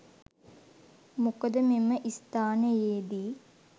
මොකද මෙම ස්ථානයේ දී